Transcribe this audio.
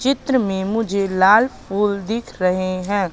चित्र में मुझे लाल फूल दिख रहे हैं।